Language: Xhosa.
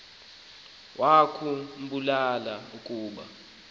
wakhu mbula ukuba